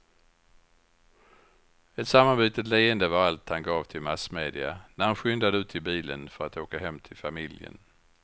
Ett sammanbitet leende var allt han gav till massmedia när han skyndade ut till bilen för att åka hem till familjen.